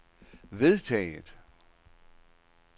vedtaget